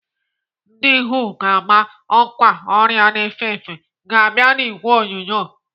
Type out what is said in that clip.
Ndị WHO ga-ama ọkwa ọrịa na-efe ọzọ ga-abịa n'ìgwè onyonyo.